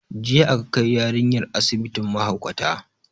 Jiya aka kai yarinyar asibitin mahaukata